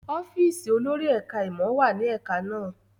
ọ́fíìsì olórí ẹka món wá ní ẹka na